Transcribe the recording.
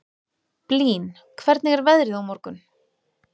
Blín, hvernig er veðrið á morgun?